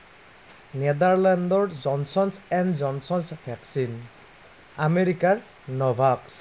নেডাৰলেণ্ডৰ Johnson's and Johnson's vaccine আমেৰিকাৰ Novavax